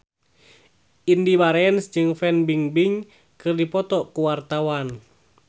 Indy Barens jeung Fan Bingbing keur dipoto ku wartawan